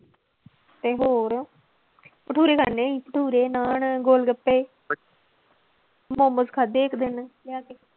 ਤੇ ਹੋਰ ਭਟੂਰੇ ਭਟੂਰੇ, ਨਾਨ, ਗੋਲਗੱਪੇ ਮੋਮੋਸ ਖਾਦੇ ਇੱਕ ਦਿਨ ਲਿਆ ਕੇ।